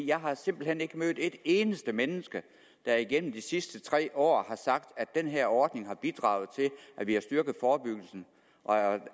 jeg har simpelt hen ikke mødt et eneste menneske der igennem de sidste tre år har sagt at den her ordning har bidraget til at vi har styrket forebyggelsen og